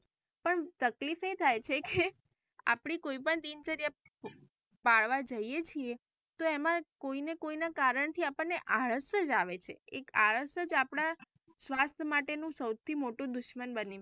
પણ તકલીફ એ થાય છે કે આપડી કોઈ પણ દિનચર્યા જઇયે છીએ તો એમાં કોઈને કોઈ ના કારણ થી આપણે ને આળસ જ આવે છે એક આળસ જ આપડા સ્વાસ્થ્ય માટેનું સૌથી મોટું દુશ્મન બની.